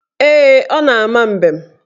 Ee, ọ na-ama mbem.